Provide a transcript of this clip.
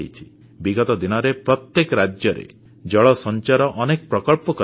ବିଗତ ଦିନରେ ପ୍ରତ୍ୟେକ ରାଜ୍ୟରେ ଜଳ ସଞ୍ଚୟର ଅନେକ ପ୍ରକଳ୍ପ କରାଯାଇଛି